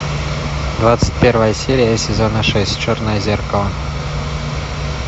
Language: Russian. двадцать первая серия сезона шесть черное зеркало